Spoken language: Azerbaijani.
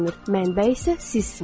Mənbə isə sizsiniz.